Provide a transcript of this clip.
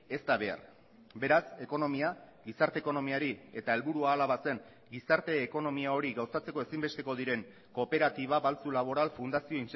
ez da behar beraz ekonomia gizarte ekonomiari eta helburua hala bazen gizarte ekonomia hori gauzatzeko ezinbesteko diren kooperatiba baltzu laboral fundazio